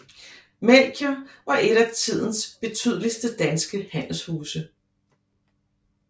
Melchior var et af et af tidens betydeligste danske handelshuse